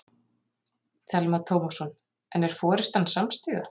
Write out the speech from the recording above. Telma Tómasson: En er forystan samstíga?